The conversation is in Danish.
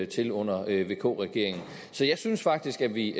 til under vk regeringen så jeg synes faktisk at vi